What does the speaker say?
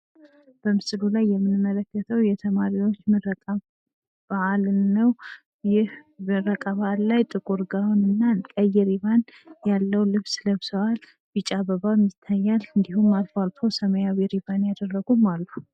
በምስሉ ላይ የምንመለከተው የተማሪዎች ምረቃ በዓልን ነው። ይህ ምረቃ በዓል ላይ ጥቁርን ጋውንና ቀይ ሪባን ያለው ልብስ ለብሰዋል። ቢጫ አበባም ይታያል። እንዲሁም አልፎ አልፎ ሰማያዊ ሪባን ያደረጉም አሉ።